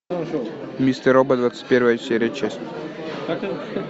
мистер робот двадцать певая серия часть